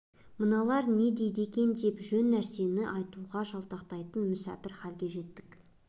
мыналар не дейді екен деп жөн нәрсені айтудан жалтақтайтын мүсәпір халге жеттік